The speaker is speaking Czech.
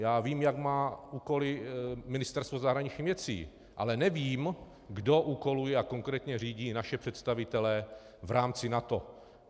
Já vím, jaké má úkoly Ministerstvo zahraničních věcí, ale nevím, kdo úkoluje a konkrétně řídí naše představitele v rámci NATO.